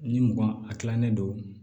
Ni mugan a tilalen don